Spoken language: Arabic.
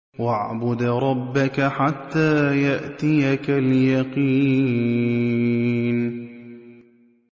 وَاعْبُدْ رَبَّكَ حَتَّىٰ يَأْتِيَكَ الْيَقِينُ